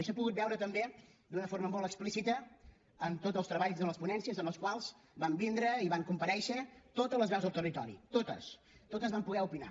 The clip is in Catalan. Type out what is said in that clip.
i s’ha pogut veure també d’una forma molt explícita en tots els treballs en les ponències a les quals van vindre i van comparèixer totes les veus del territori totes totes van poder opinar